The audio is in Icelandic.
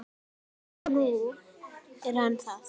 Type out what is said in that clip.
Og nú er hann það.